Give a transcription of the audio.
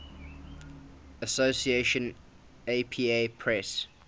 association apa press